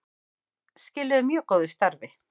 Skiluðu mjög góðu starfi